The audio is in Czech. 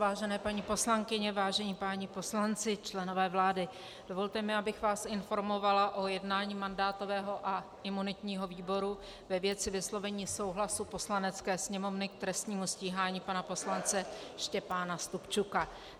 Vážené paní poslankyně, vážení páni poslanci, členové vlády, dovolte mi, abych vás informovala o jednání mandátového a imunitního výboru ve věci vyslovení souhlasu Poslanecké sněmovny k trestnímu stíhání pana poslance Štěpána Stupčuka.